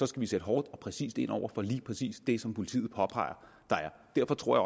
skal vi sætte hårdt og præcist ind over for lige præcis det som politiet påpeger derfor tror